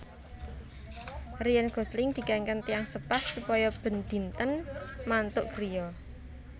Ryan Gosling dikengken tiyang sepah supaya ben dinten mantuk griya